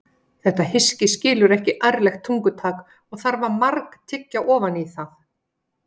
Þetta hyski skilur ekki ærlegt tungutak og þarf að margtyggja ofan í það.